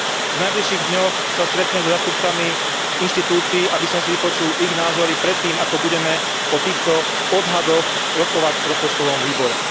V najbližších dňoch sa stretnem so zástupcami inštitúcií, aby som si vypočul ich názory predtým, ako budeme o týchto odhadoch rokovať v rozpočtovom výbore.